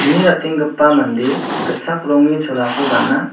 kni ratenggipa mande gitchak rongni cholako gana.